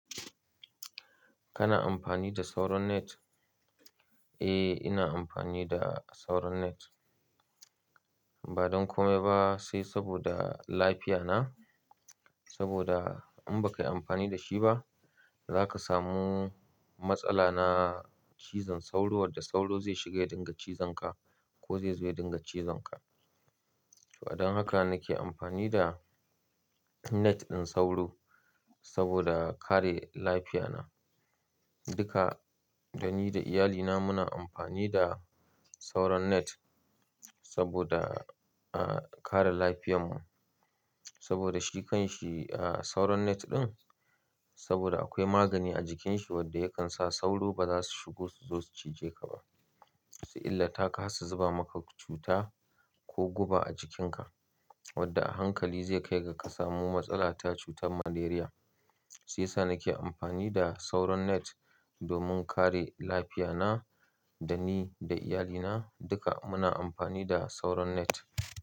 Kana amfani da sauron net? Eh, ina amfani da sauron net. Ba don kome ba sai saboda lafiya na. Saboda in baka yi amfani da shi ba, zaka samu matsala na cizon sauro, wadda sauro zai shiga ya dinga cizon ka ko zai zo ya dinga cizon ka. To, don haka nake amfani da net ɗin sauro saboda kare lafiya na. Duka da ni da iyalina muna amfani da sauron net saboda, ah, kare lafiyar mu. Saboda shi kan shi, ah, sauron net ɗin, saboda akwai magani a jikin shi wadda yakan sa sauro ba za su shigo su zo su cije ka ba, su illata ka, su zuba maka cuta ko guba a jikin ka wadda a hankali zai kai ga ka samu matsala ta cutar malaria. Siya sa nake amfani da sauron net domin kare lafiya na, da ni da iyalina duka muna amfani da sauron net.